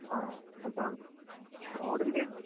ആഹ് അതാണ്. റോഡിൻറ്റെം